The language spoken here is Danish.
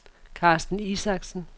Carsten Isaksen